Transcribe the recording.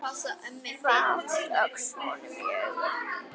Fátt óx honum í augum.